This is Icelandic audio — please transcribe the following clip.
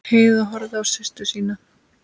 Heiða horfði á systur sína.